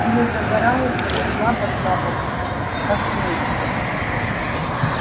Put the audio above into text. или загорается но слабо-слабо как свечка